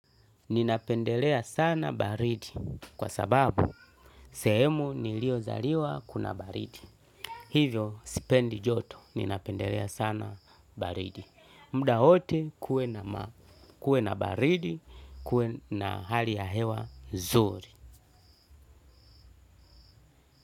Ninapendelea sana baridi kwa sababu sehemu niliyo zaliwa kuna baridi. Hivyo sipendi joto. Ninapendelea sana baridi. Mudawote kuwe na baridi kuwe na hali ya hewa nzuri.